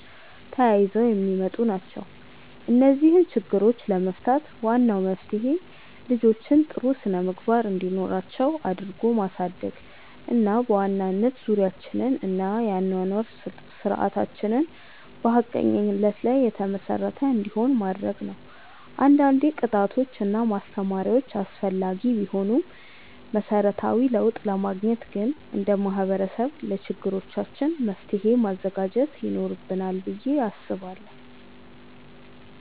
ተያይዘው የሚመጡ ናቸው። እነዚህን ችግሮች ለመፍታት ዋናው መፍትሄ ልጆችን ጥሩ ስነምግባር እንዲኖራቸው አድርጎ ማሳደግ እና በዋናነት ዙሪያችንን እና የአኗኗር ስርዓታችንን በሀቀኝነት ላይ የተመሰረተ እንዲሆን ማድረግ ነው። አንዳንዴ ቅጣቶች እና ማስተማሪያዎች አስፈላጊ ቢሆኑም መሰረታዊ ለውጥ ለማግኘት ግን እንደ ማህበረሰብ ለችግሮቻችን መፍትሔ ማዘጋጀት ይኖርብናል ብዬ አስባለሁ።